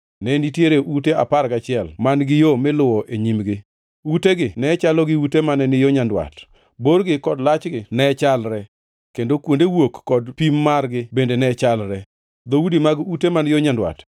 ne nitie ute apar gachiel man-gi yo miluwo e nyimgi. Utegi ne chalo gi ute mane ni yo nyandwat; borgi kod lachgi ne chalre, kendo kuonde wuok kod pim margi bende ne chalre. Dhoudi mag ute man yo nyandwat